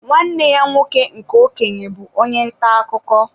Nwanne ya nwoke nke okenye bụ onye ntà akụkọ.